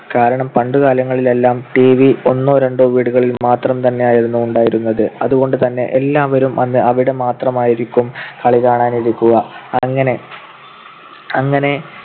കാരണം പണ്ടുകാലങ്ങളിലെല്ലാം TV ഒന്നോ രണ്ടോ വീടുകളിൽ മാത്രം തന്നെയായിരുന്നു ഉണ്ടായിരുന്നത്. അതുകൊണ്ടുതന്നെ എല്ലാവരും അന്ന് അവിടെ മാത്രമായിരിക്കും കളി കാണാൻ ഇരിക്കുക. അങ്ങനെ അങ്ങനെ